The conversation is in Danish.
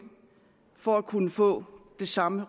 for at kunne få det samme